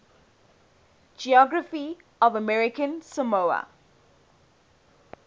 geography of american samoa